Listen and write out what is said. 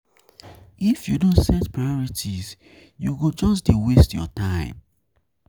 If you no set priorities, you go just dey waste your time.